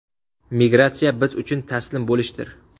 Migratsiya biz uchun taslim bo‘lishdir”.